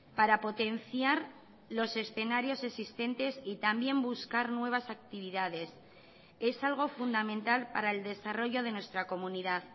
para potenciar los escenarios existentes y también buscar nuevas actividades es algo fundamental para el desarrollo de nuestra comunidad